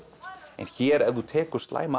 en hér ef þú tekur slæma